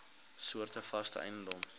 soorte vaste eiendom